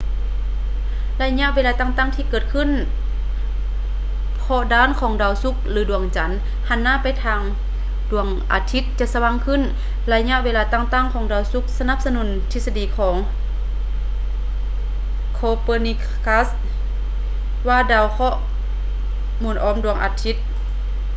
ໄລຍະເວລາຕ່າງໆທີ່ເກີດຂຶ້ນເພາະດ້ານຂອງດາວສຸກ ຫຼື ດວງຈັນ ຫັນໜ້າໄປທາງດວງອາທິດຈະສະຫວ່າງຂຶ້ນ. ໄລຍະເວລາຕ່າງໆຂອງດາວສຸກສະໜັບສະໜູນທິດສະດີຂອງ copernicus ວ່າດາວເຄາະໜູນອ້ອມດວງອາທິດ